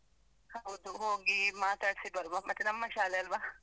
ಹೌದು, ಹೋಗಿ ಮಾತಾಡಿಸಿ ಬರುವ, ಮತ್ತೆ ನಮ್ಮ ಶಾಲೆ ಅಲ್ವಾ.